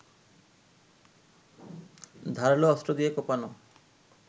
ধারালো অস্ত্র দিয়ে কোপানো